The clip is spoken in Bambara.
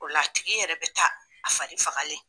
O la a tigi yɛrɛ bɛ taa a farifagalen.